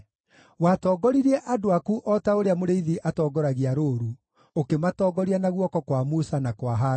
Watongoririe andũ aku o ta ũrĩa mũrĩithi atongoragia rũũru, ũkĩmatongoria na guoko kwa Musa na kwa Harũni.